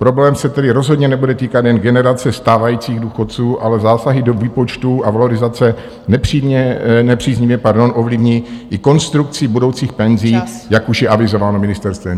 Problém se tedy rozhodně nebude týkat jen generace stávajících důchodců, ale zásahy do výpočtů a valorizace nepříznivě, pardon, ovlivní i konstrukcí budoucích penzí , jak už je avizováno ministerstvem.